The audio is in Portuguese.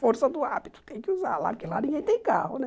Força do hábito, tem que usar lá, porque lá ninguém tem carro, né?